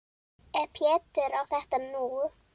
Ef Pétur á þetta nú.